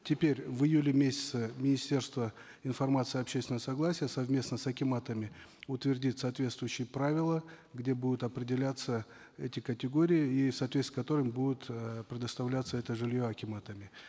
теперь в июле месяце министерство информации общественного согласия совместно с акиматами утвердит соответствующие правила где будут определяться эти категории и в соответствии с которыми будет э предоставляться это жилье акиматами